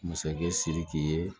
Masakɛ siriki ye